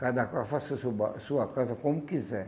Cada casa, faça seu ba sua casa como quiser.